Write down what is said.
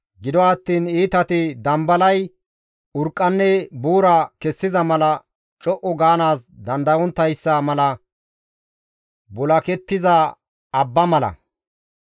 Gido attiin iitati dambalay urqqanne buura kessiza mala co7u gaanaas dandayonttayssa mala bulakettiza abba mala.